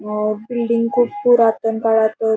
अ building खूप पुरातन काळात--